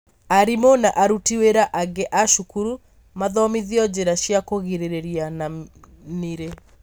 arimũ na aruti wĩra angĩ a cukuru mathomithio njĩra cia kũgirĩrĩria na nĩri.